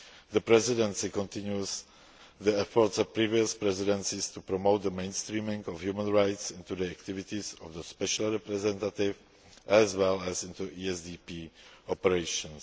The Presidency continues the efforts of previous presidencies to promote the mainstreaming of human rights into the activities of the Special Representative, as well as into ESDP operations.